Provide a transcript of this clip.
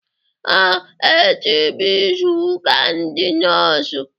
Ee, echi bụ izuka ndị Nọọsụ